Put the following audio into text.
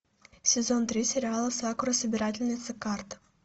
сезон три сериала сакура собирательница карт